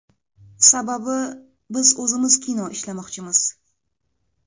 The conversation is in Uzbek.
Sababi, biz o‘zimiz kino ishlamoqchimiz.